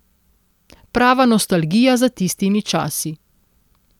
Prava nostalgija za tistimi časi.